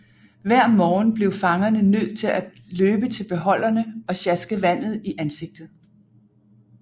Hver morgen blev fangerne nødt til at løbe til beholderne og sjaske vandet i ansigtet